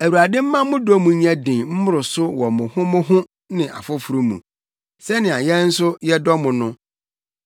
Awurade mma mo dɔ mu nyɛ den mmoro so wɔ mo ho mo ho ne afoforo mu, sɛnea yɛn nso yɛdɔ mo no.